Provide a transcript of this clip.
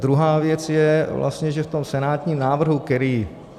Druhá věc je vlastně, že v tom senátním návrhu, který...